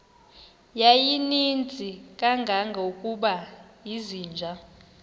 yayininzi kangangokuba izinja